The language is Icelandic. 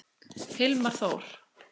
Hilmar Þór.